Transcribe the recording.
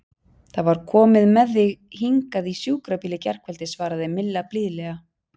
Það var komið með þig hingað í sjúkrabíl í gærkvöldi svaraði Milla blíðlega.